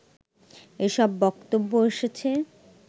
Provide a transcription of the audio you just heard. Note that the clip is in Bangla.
এসব বক্তব্য এসেছে